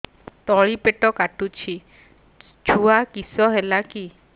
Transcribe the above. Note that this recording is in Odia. ତଳିପେଟ କାଟୁଚି ଛୁଆ କିଶ ହେଲା କି